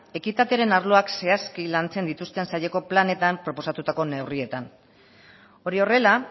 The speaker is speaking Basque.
ekitatearen arloak zehazki lantzen dituzten saileko planetan proposatutako neurrietan hori horrela